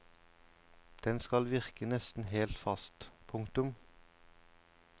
Den skal virke nesten helt fast. punktum